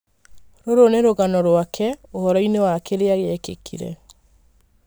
Rũrũnĩ rũgano rũake ũhoroĩnĩ wa kĩrĩa gĩekĩkire.